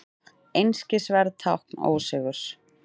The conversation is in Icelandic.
Einskisverð tákn ósigurs.